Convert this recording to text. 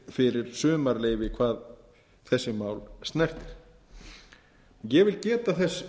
fyrir sumarleyfi hvað þessi mál snertir ég vil geta þess